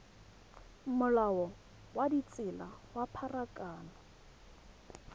molao wa ditsela wa pharakano